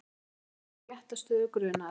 Nokkrir með réttarstöðu grunaðra